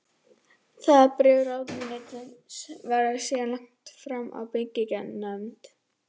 Það bréf ráðuneytisins var síðan lagt fram í byggingarnefnd